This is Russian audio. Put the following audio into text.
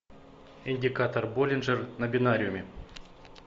индикатор боллинджер на бинариуме